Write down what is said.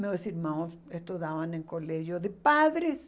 Meus irmãos estudavam em colégio de padres.